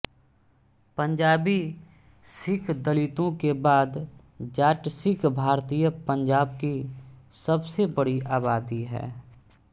पंजाबी सिख दलितों के बाद जाट सिख भारतीय पंजाब की सबसे बड़ी आबादी है